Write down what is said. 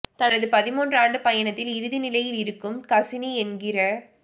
தனது பதின்மூன்று ஆண்டு பயணத்தின் இறுதி நிலையில் இருக்கும் கசினி என்கிற